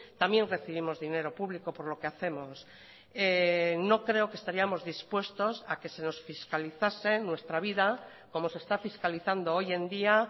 también recibimos dinero público por lo que hacemos no creo que estaríamos dispuestos a que se nos fiscalizasen nuestra vida como se está fiscalizando hoy en día